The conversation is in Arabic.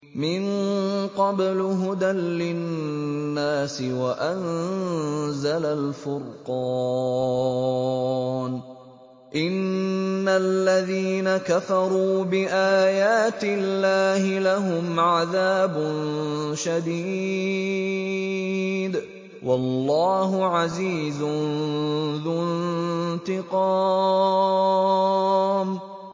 مِن قَبْلُ هُدًى لِّلنَّاسِ وَأَنزَلَ الْفُرْقَانَ ۗ إِنَّ الَّذِينَ كَفَرُوا بِآيَاتِ اللَّهِ لَهُمْ عَذَابٌ شَدِيدٌ ۗ وَاللَّهُ عَزِيزٌ ذُو انتِقَامٍ